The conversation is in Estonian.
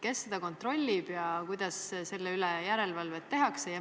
Kes seda kontrollib ja kuidas selle üle järelevalvet tehakse?